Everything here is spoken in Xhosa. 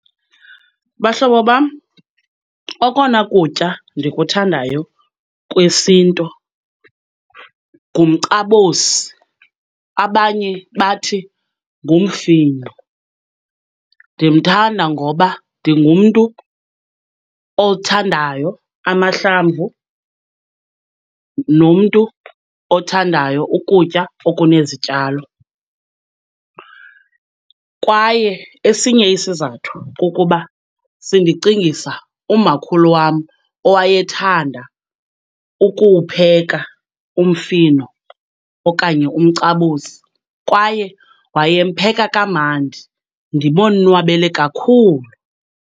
Bahlobo bam, okona kutya ndikuthandayo kwesintu ngumcabosi, abanye bathi ngumfino. Ndimthanda ngoba ndingumntu othandayo amahlamvu nomntu othandayo ukutya okunezityalo. Kwaye esinye isizathu kukuba sindicingisa umakhulu wam owayethanda ukuwupheka umfino okanye umcabosi kwaye wayempheka kamandi ndibonwabele kakhulu.